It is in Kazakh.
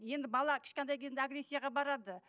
енді бала кішкентай кезінде агрессияға барады